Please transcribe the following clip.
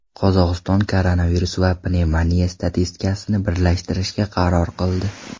Qozog‘iston koronavirus va pnevmoniya statistikasini birlashtirishga qaror qildi.